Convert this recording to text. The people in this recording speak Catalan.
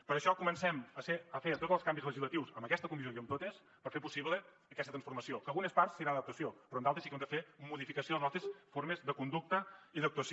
per això comencem a fer tots els canvis legislatius en aquesta comissió i en totes per fer possible aquesta transformació que en algunes parts serà adaptació però en d’altres sí que haurem de fer modificació de les nostres formes de conducta i d’actuació